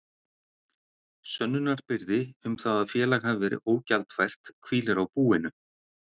Sönnunarbyrði um það að félag hafi verið ógjaldfært hvílir á búinu.